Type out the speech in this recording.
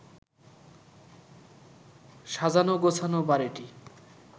সাজানো-গোছানো বাড়িটি